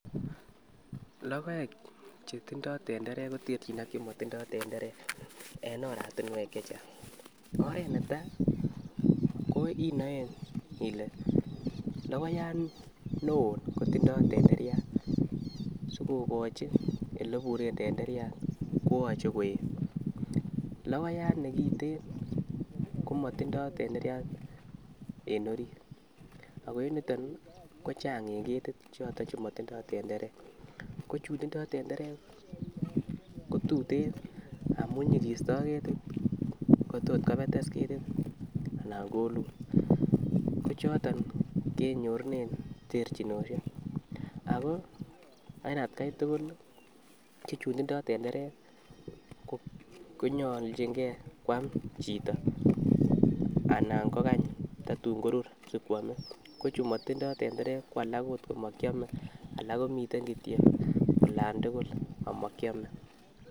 lokoek chetindoi tenderek koterchin ak chemotindoi tenderek en oratinwek chechang, oret netai ko inoen ile lokoyat neo kotindoi tenderiat sikokochi oleiburen tenderiat koyoche koet, lokoyat nekiten komotindoi tenderiat en orit ak en yuton kochang en ketit choton che motindoi tenderek ko chun tindoi tenderek ko tuten amun iyikisto ketit kotos kopetes anan kolul. Ko choton kenyorunen terchinoshek ako en atgai tukul lii ko chun tindo tenderek konyoljin gee kwam chito anan ko kany tatun korur sikwome, ko chuu motindoi tenderek ko alak okot ko mokiome alak komiten kityok olan tukul amokiome.